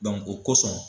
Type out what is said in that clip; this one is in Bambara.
o kosɔn